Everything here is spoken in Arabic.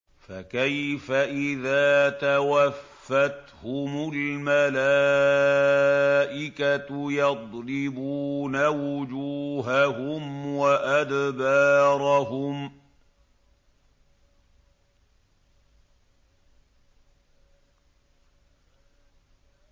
فَكَيْفَ إِذَا تَوَفَّتْهُمُ الْمَلَائِكَةُ يَضْرِبُونَ وُجُوهَهُمْ وَأَدْبَارَهُمْ